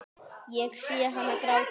Ég sé hana gráta.